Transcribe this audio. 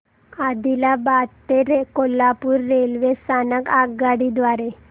आदिलाबाद ते कोल्हापूर रेल्वे स्थानक आगगाडी द्वारे